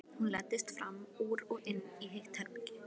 Hún læddist fram úr og inn í hitt herbergið.